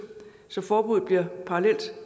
så forbuddet bliver parallelt